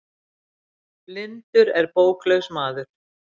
Blindur er bóklaus maður.